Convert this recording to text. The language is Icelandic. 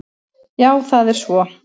Já það er svo.